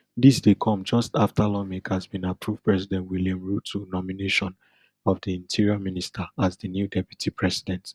dis dey come just after lawmakers bin approve president william ruto nomination of di interior minister as di new deputy president